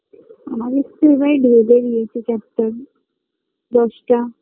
আমাদের তো এবার বেঁধে দিয়েছে Chapter দশটা